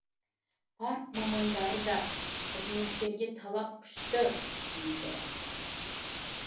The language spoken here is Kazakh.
парк мамандары да қызметкерге талап күшті дейді